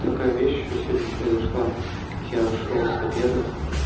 такая вещь ещё сегодня произошла я шёл с обеда